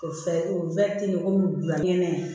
O fɛ o komi bila nɛgɛn